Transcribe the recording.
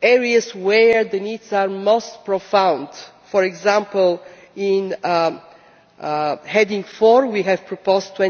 areas where the needs are most profound. For example, in Heading 4 we have proposed a